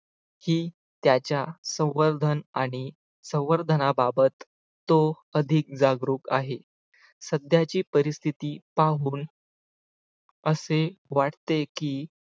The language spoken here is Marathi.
ही त्याच्या संवर्धन आणि संवर्धनाबाबत तो अधिक जागरूक आहे सध्याची परिस्थिती पाहून असे वाटते की